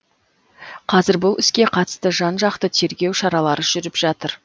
қазір бұл іске қатысты жан жақты тергеу шаралары жүріп жатыр